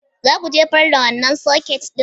Za ku jefar da wannan soket ɗin?